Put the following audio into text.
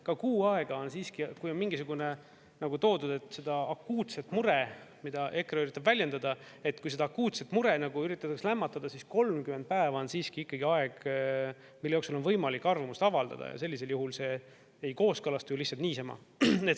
Ka kuu aega on siiski, kui on mingisugune nagu toodud, et seda akuutset mure, mida EKRE üritab väljendada, et kui seda akuutset mure üritatakse lämmatada, siis 30 päeva on siiski ikkagi aeg, mille jooksul on võimalik arvamust avaldada ja sellisel juhul see ei kooskõlastu ju lihtsalt niisama.